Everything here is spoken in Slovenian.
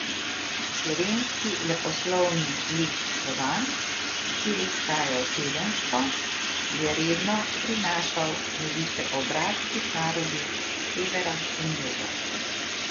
Slovenski leposlovni list Slovan, ki je izhajal tedensko, je redno prinašal novice o bratskih narodih s severa in juga.